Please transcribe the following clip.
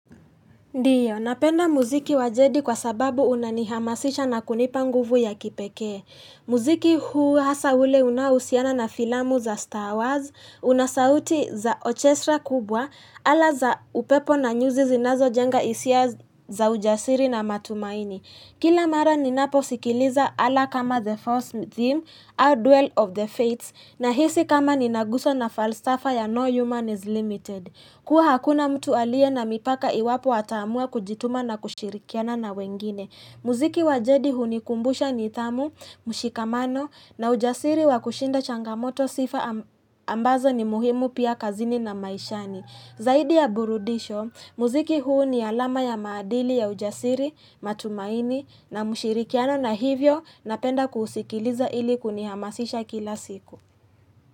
Ndio, napenda muziki wajedi kwa sababu unanihamasisha na kunipa nguvu ya kipekee. Muziki huu hasa ule unaohusiana na filamu za Star Wars, unasauti za ochesra kubwa, ala za upepo na nyuzi zinazojenga hisia za ujasiri na matumaini. Kila mara ninaposikiliza ala kama The Force Theme, Our Dwell of the Fates, nahisi kama ninaguzwa na falsafa ya No Human is Limited. Kuwa hakuna mtu aliye na mipaka iwapo ataamua kujituma na kushirikiana na wengine. Muziki wajedi hunikumbusha nidhamu, mushikamano na ujasiri wa kushinda changamoto sifa ambazo ni muhimu pia kazini na maishani. Zaidi ya burudisho, muziki huu ni alama ya maadili ya ujasiri, matumaini na mushirikiano na hivyo napenda kuusikiliza ili kunihamasisha kila siku.